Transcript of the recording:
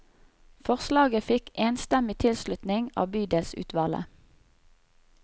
Forslaget fikk enstemmig tilslutning av bydelsutvalget.